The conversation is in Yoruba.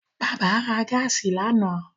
Bàbá ra gáàsì lánàá